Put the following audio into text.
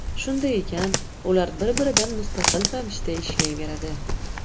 Shunday ekan, ular bir-biridan mustaqil ravishda ishlayveradi.